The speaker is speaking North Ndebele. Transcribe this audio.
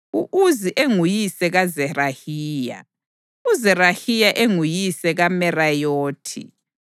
u-Uzi enguyise kaZerahiya, uZerahiya enguyise kaMerayothi,